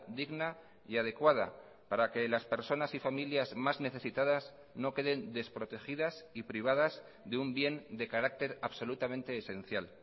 digna y adecuada para que las personas y familias más necesitadas no queden desprotegidas y privadas de un bien de carácter absolutamente esencial